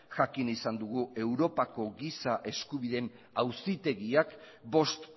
jakin izan dugu europako giza eskubideen auzitegiak bost